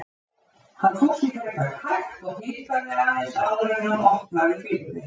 Hann fór sér frekar hægt og hikaði aðeins áður en hann opnaði fyrir þeim.